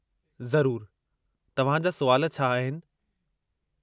ज़रूरु , तव्हां जा सुवाल छा आहिनि?